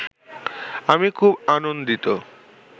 আমি খুব আনন্দিত